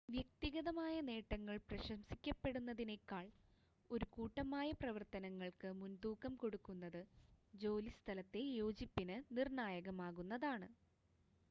വ്യക്തിഗതമായ നേട്ടങ്ങൾ പ്രശംസിക്കപ്പെടുന്നതിനേക്കാൾ ഒരു കൂട്ടമായ പ്രവർത്തനങ്ങൾക്ക് മുൻതൂക്കം കൊടുക്കുന്നത് ജോലിസ്ഥലത്തെ യോജിപ്പിന് നിർണ്ണായകമാകുന്നതാണ്